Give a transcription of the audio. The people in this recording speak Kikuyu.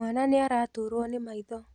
Mwana nĩaraturwo nĩmaitho.